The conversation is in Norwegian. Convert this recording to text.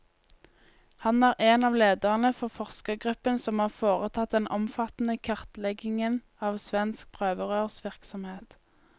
Han er en av lederne for forskergruppen som har foretatt den omfattende kartleggingen av svensk prøverørsvirksomhet.